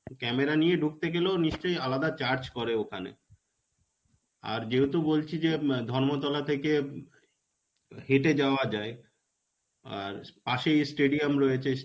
camera নিয়ে ঢুকতে গেলেও নিশ্চয় আরো charge করে ওখানে. আর যেহেতু বলছি যে এম ধর্মতলা থেকে হেটে যাওয়া যায়. আর পাশেই stadium রয়েছে.